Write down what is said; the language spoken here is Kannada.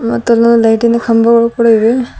ಮತ್ತು ಅಲ್ಲಿ ಲೈಟಿ ನ ಕಂಬಗಳು ಕೂಡ ಇವೆ.